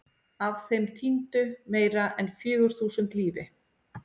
Af þeim týndu meira en fjögur þúsund lífi.